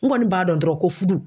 N kɔni b'a dɔn dɔrɔn ko fudu